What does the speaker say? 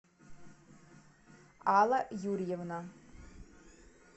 алла юрьевна